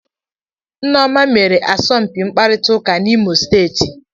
Nneoma mere asọmpi mkparịta ụka n'Imo steeti